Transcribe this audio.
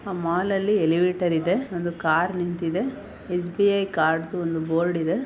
ಆ ಮಾಲ್ನಲ್ಲಿ ಎಲಿವೇಟರ್ ಇದೆ ಒಂದು ಕಾರ್ ನಿಂತಿದೆ ಎಸ್‌_ಬಿ_ಐ ಕಾರ್ಡ್ ದು ಒಂದು ಬೋರ್ಡ್ ಇದೆ.